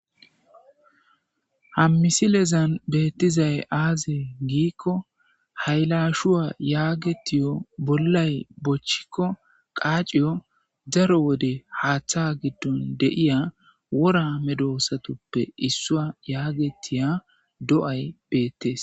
Ha misilezan beettizay azee gikko haylashuwa yagettiyo bollay bochchikko qacciyo daro wode haaththa giddon de'iya woora medosatuppe issuwa yagettidii beettes